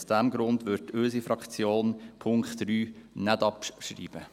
Aus diesem Grund wird unsere Fraktion den Punkt 3 nicht abschreiben.